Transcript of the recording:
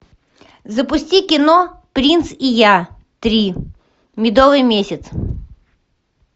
запусти кино принц и я три медовый месяц